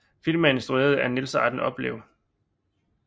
Filmen er instrueret af Niels Arden Oplev